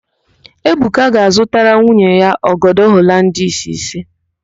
Ebuka ga-azụtara nwunye ya ọgọdọ Holandis ise.